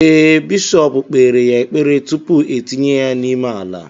Ee, bishọp kpere ya ekpere, tupu etinye ya n’ime ala